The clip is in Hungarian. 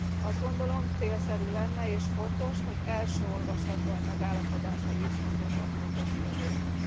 Azt gondolom, célszerű lenne és fontos, hogy első olvasatban megállapodásra jussunk ebben a fontos kérdésben.